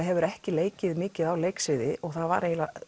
hefur ekki leikið mikið á leiksviði og það var